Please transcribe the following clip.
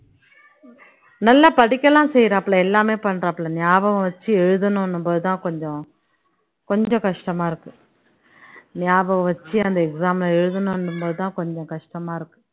நல்லா படிக்க எல்லாம் செய்யறாப்புல எல்லாமே பண்றாப்புல ஞாபகம் வச்சு எழுதணுன்னும்போதுதான் கொஞ்சம் கொஞ்சம் கஷ்டமா இருக்கு ஞாபகம் வச்சு அந்த exam அ எழுதணுன்னும்போதுதான் கொஞ்சம் கஷ்டமா இருக்கு